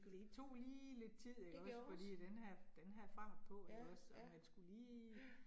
Det tog lige lidt tid ikke også, fordi den havde den havde fart på ikke også, og man skulle lige